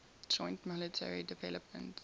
joint military developments